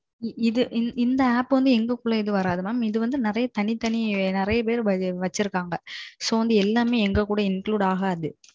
இது இந்த app வந்து எங்க குள்ள இது வராது mam. இது நெறையா பெரு தனி தனி நெறைய பெரு வச்சுருக்காங்க. so, வந்து எல்லாமே எங்க கூட include ஆகாது.